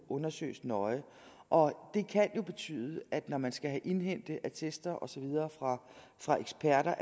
undersøges nøje og det kan jo betyde at når man skal indhente attester og så videre fra fra eksperter